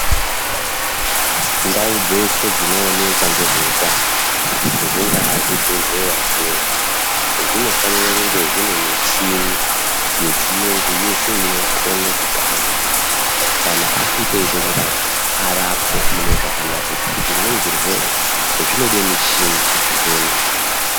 Ndau dzeshe dzinoonekwa ngezveutano, zvingaa zvibhedhleya zvinezvi, zvinofanire kunge zvine michini yechiyungu yeshe inokone kuti antu kana asvike eide kurapwa, arapwe mune zvakanaka ngekuti zvimweni zvirwere zvinode michini kuti zvionekwe.